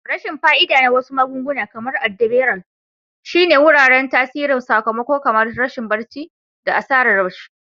Rashin fa'ida na wasu magunguna, kamar adderall, shine yuwuwar tasirin sakamako kamar rashin barci da asarar ci.